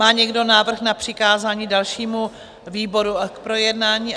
Má někdo návrh na přikázání dalšímu výboru k projednání?